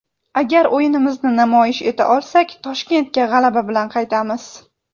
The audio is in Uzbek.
Agar o‘yinimizni namoyish eta olsak, Toshkentga g‘alaba bilan qaytamiz.